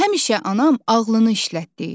Həmişə anam ağlını işlət deyir.